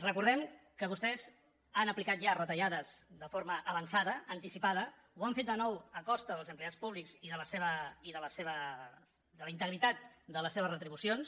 recordem que vostès han aplicat ja retallades de forma avançada anticipada ho han fet de nou a costa dels empleats públics i de la integritat de les seves retribucions